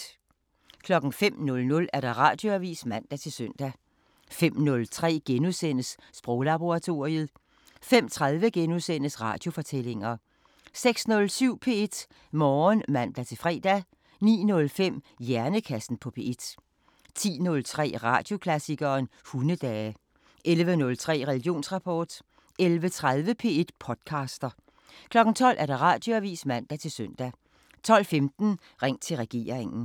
05:00: Radioavisen (man-søn) 05:03: Sproglaboratoriet * 05:30: Radiofortællinger * 06:07: P1 Morgen (man-fre) 09:05: Hjernekassen på P1 10:03: Radioklassikeren: Hundedage 11:03: Religionsrapport 11:30: P1 podcaster 12:00: Radioavisen (man-søn) 12:15: Ring til regeringen